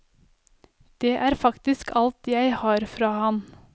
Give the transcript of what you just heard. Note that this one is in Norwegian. Dette er faktisk alt jeg har fra han.